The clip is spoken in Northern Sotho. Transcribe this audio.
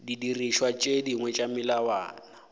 didirišwa tše dingwe tša melawana